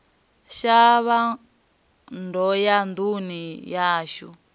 shavha ndo ya nduni yashu